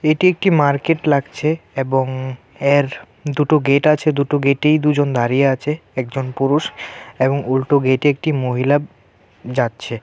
এটি একটি মার্কেট লাগছে এবং এর দুটো গেট আছে দুটো গেটেই দুজন দাঁড়িয়ে আছে একজন পুরুষ এবং উল্টো গেটে একটি মহিলা যাচ্ছে.